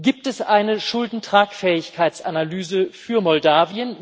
Gibt es eine Schuldentragfähigkeitsanalyse für Moldau?